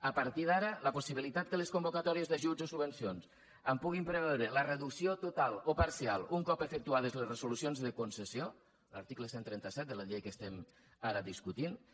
a partir d’ara la possibilitat que les convocatòries d’ajuts o subvencions en puguin preveure la reducció total o parcial un cop efectuades les resolucions de concessió l’article cent i trenta set de la llei que estem ara discutint